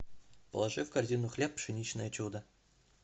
положи в корзину хлеб пшеничное чудо